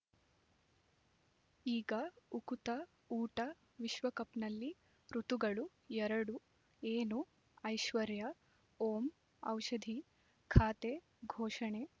ಈಗ ಉಕುತ ಊಟ ವಿಶ್ವಕಪ್‌ನಲ್ಲಿ ಋತುಗಳು ಎರಡು ಏನು ಐಶ್ವರ್ಯಾ ಓಂ ಔಷಧಿ ಖಾತೆ ಘೋಷಣೆ